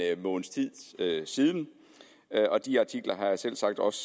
måneds tid siden og de artikler har jeg selvsagt også